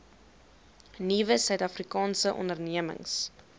nuwe suidafrikaanse ondernemings